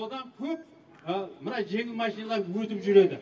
содан көп мына жеңіл машиналар өтіп жүреді